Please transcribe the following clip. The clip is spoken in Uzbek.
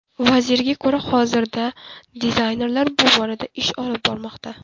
Vazirga ko‘ra, hozirda dizaynerlar bu borada ish olib bormoqda.